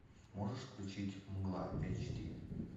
можешь включить мгла эйч ди